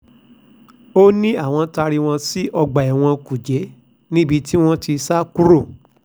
ó ní àwọn ti taari wọn sí ọgbà ẹ̀wọ̀n kújẹ́ níbi tí wọ́n ti sá kúrò